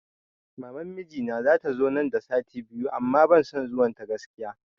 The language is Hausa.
Maman mijina wai zata zo nan da sati biyu amma ban son zuwan ta gaskiya